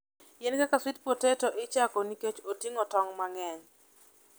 Yien kaka sweet potato ichoko nikech oting'o tong' mang'eny.